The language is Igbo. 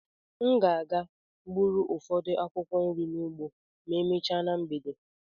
M ga-aga gbụrụ ụfọdụ akwụkwọ nri n'ugbo ma emechaa na mgbede.